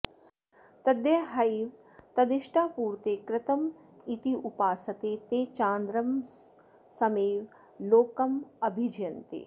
तद्ये ह वै तदिष्टापूर्ते कृतमित्युपासते ते चान्द्रमसमेव लोकमभिजयन्ते